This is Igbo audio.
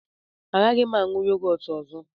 Agaghị m aṅụ yogọt ọzọ.